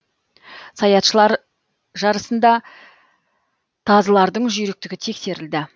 саятшылар жарысында тазылардың жүйріктігі тексерілді